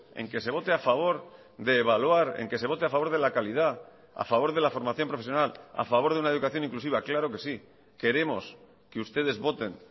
en que se vote a favor de evaluar en que se vote a favor de la calidad a favor de la formación profesional a favor de una educación inclusiva claro que sí queremos que ustedes voten